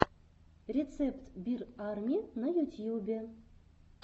рецепт бир арми на ютьюбе